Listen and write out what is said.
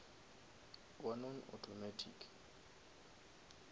wa non automatic